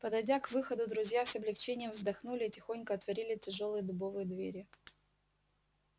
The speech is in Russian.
подойдя к выходу друзья с облегчением вздохнули и тихонько отворили тяжёлые дубовые двери